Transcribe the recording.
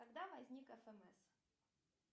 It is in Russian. когда возник фмс